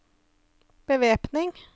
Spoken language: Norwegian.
bevæpning